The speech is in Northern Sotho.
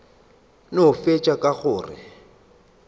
no fetša ka go re